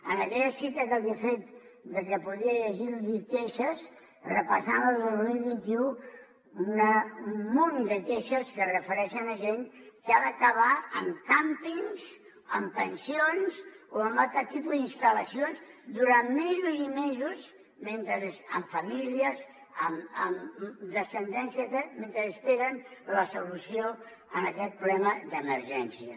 en aquella cita que els hi he fet de que podria llegir los queixes repassant les del dos mil vint u un munt de queixes que es refereixen a gent que ha d’acabar en càmpings en pensions o en altre tipus d’instal·lacions durant mesos i mesos amb famílies amb descendència tal mentre esperen la solució a aquest problema d’emergència